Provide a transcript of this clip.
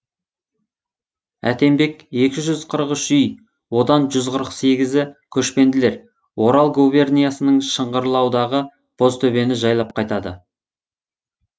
әтембек екі жүз қырық үш үй одан жүз қырық сегізі көшпенділер орал губерниясының шыңғырлаудағы бозтөбені жайлап қайтады